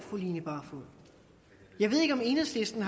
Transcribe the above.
jeg ved ikke om enhedslisten